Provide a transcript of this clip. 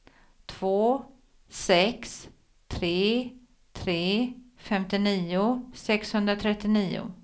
två sex tre tre femtionio sexhundratrettionio